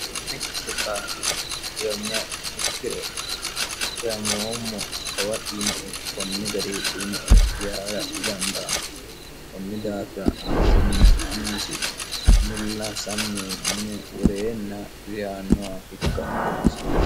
mittokaqidiyomiya ikkiro dimoommo kawa dhiwinoe kunni gari dhiwinoe yaara dhidandaanno kunni daafira amasinna annisi mulla samme mine woreenna riyannoha hikka dinosi